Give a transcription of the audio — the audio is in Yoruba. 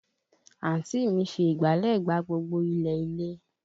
Àǹtí mi fi ìgbálẹ̀ gbá gbogbo ilẹ̀ ilé